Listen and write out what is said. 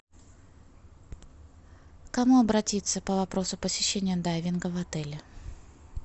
к кому обратиться по вопросу посещения дайвинга в отеле